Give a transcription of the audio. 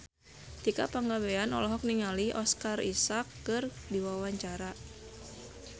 Tika Pangabean olohok ningali Oscar Isaac keur diwawancara